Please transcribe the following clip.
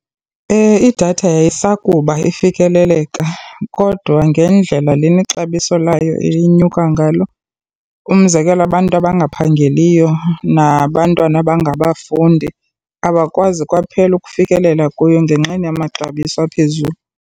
Idatha yayisakuba ifikeleleka kodwa ngendlela lena ixabiso layo linyuka ngalo. Umzekelo abantu abangaphangeliyo nabantwana abangabafundi abakwazi kwaphela ukufikelela kuyo ngenxeni yamaxabiso aphezulu.